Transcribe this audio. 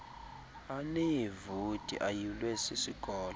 aneevoti ayulwe sisikolo